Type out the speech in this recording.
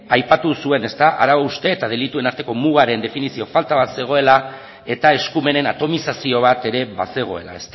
aipatu zuen arau haustea eta delituen arteko mugaren definizio falta bat zegoela eta eskumenen atomizazio bat ere bazegoela